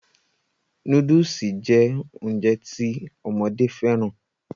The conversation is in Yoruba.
Nóódùsì jẹ́ Ounjẹ ti ọmọdé fẹ́ràn